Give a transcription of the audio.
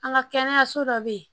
An ka kɛnɛyaso dɔ bɛ yen